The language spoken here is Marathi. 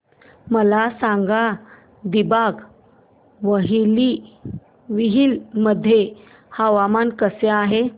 मला सांगा दिबांग व्हॅली मध्ये हवामान कसे आहे